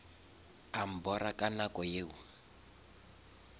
a mbora ka nako yeo